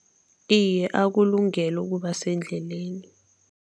Iye, akulungele ukuba sendleleni.